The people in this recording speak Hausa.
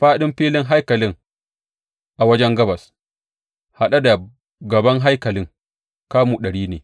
Faɗin filin haikalin a wajen gabas, haɗe da gaban haikalin, kamu ɗari ne.